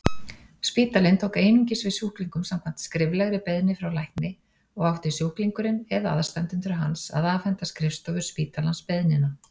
Spítalinn tók einungis við sjúklingum samkvæmt skriflegri beiðni frá lækni og átti sjúklingurinn eða aðstandendur hans að afhenda skrifstofu spítalans beiðnina.